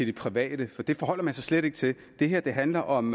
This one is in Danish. det private det forholder man sig slet ikke til det her handler om